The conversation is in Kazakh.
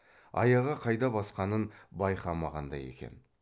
аяғы қайда басқанын байқамағандай екен